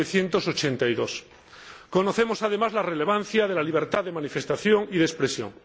1982. Conocemos, además, la relevancia de la libertad de manifestación y de expresión.